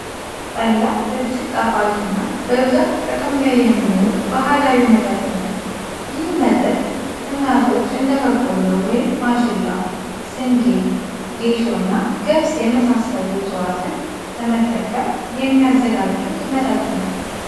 ጠላ እጅግ ጣፋጭ እና በብዛት ጥቅም ላይ የሚውል ባህላዊ መጠጥ ነው። ይህ መጠጥ እናቶች እንደ በቆሎ (ማሽላ) ፣ስንዴ፣ ጌሾ እና ገብስ የመሳሰሉ እፅዋትን በመጠቀም የሚያዘጋጁት መጠጥ ነው።